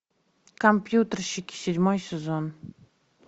компьютерщики седьмой сезон